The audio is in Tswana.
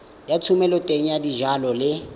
ya thomeloteng ya dijalo le